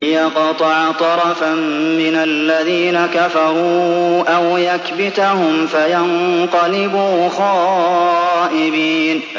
لِيَقْطَعَ طَرَفًا مِّنَ الَّذِينَ كَفَرُوا أَوْ يَكْبِتَهُمْ فَيَنقَلِبُوا خَائِبِينَ